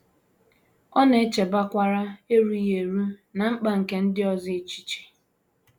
Ọ na - echebakwara erughị eru na mkpa nke ndị ọzọ echiche.